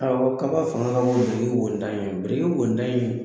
Ɔ kaba fanga ka bon ni briki wo ntan in ye , biriki wo ntan in